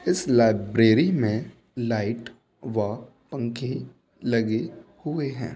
इस लाइब्रेरी में लाइट व पंखे लगे हुए हैं |।